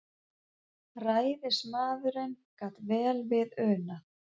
Ræðismaðurinn gat vel við unað.